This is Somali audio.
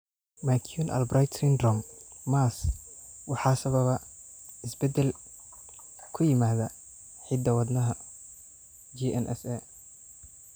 McCune Albright syndrome (MAS) waxaa sababa isbeddel (isbedel) ku yimaada hidda-wadaha GNAS.